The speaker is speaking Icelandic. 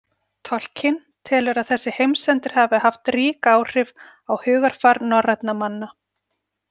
Tolkien telur að þessi heimsendir hafi haft rík áhrif á hugarfar norrænna manna.